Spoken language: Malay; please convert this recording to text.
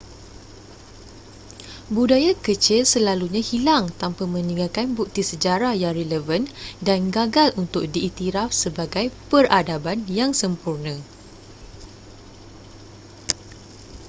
budaya kecil selalunya hilang tanpa meninggalkan bukti sejarah yang relevan dan gagal untuk diiktiraf sebagai peradaban yang sempurna